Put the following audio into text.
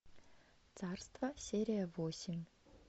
царство серия восемь